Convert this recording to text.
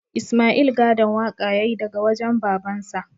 Isma'il gadon waƙa ya yi daga wajen babansa